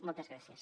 moltes gràcies